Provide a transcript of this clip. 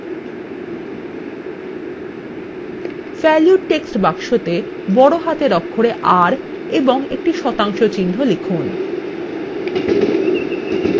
value text box বড় হাতের অক্ষরে r এবং একটি শতাংশ চিহ্ন লিখুন